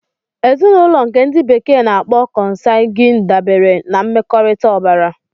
Ezinụlọ nke ndi bekee n'akpo consanguine dabere na mmekọrịta ọbara.